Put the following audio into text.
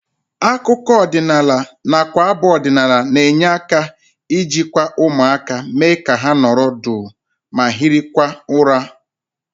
Akụkọ ọdịnala nakwa abụ ọdịnala na-enye aka ijikwa ụmụaka, mee ka ha nọrọ duu ma hirikwa ụra